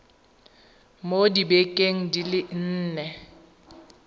mo dibekeng di le nne